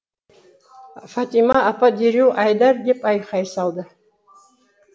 фатима апа дереу айдар деп айқай салды